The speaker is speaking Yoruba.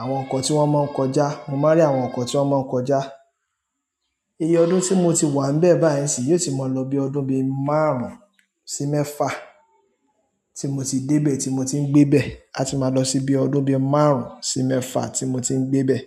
àwọn ọkọ̀ tí wọ́n máa ń kọjá, mo máa rí àwọn ọkọ̀ tí wọ́n máa ń kọjá. Iye ọdún tí mo ti wà n bẹ́ẹ̀ báyìí sì yóò ti máa lọ bí ọdún bí márùn-ún sí mẹ́fà tí mo ti dé bẹ̀ tí mo ti ń gbé bẹ̀, a ti máa lọ sí bí ọdún bí márùn-ún sí mẹ́fà tí mo ti ń gbé bẹ̀.